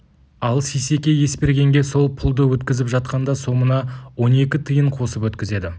ал сейсеке есбергенге сол пұлды өткізіп жатқанда сомына он екі тиын қосып өткізеді